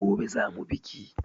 Gobe za mu biki.